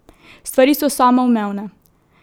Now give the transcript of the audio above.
Stvari so samoumevne.